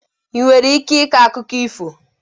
Ị nwere ike ịkọ akụkụ ifo?